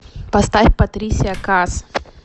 поставь патрисия каас